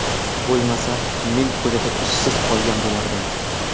bo‘lmasa men ko‘chada ishsiz qolgan bo‘lardim.